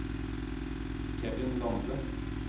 Kevin Lande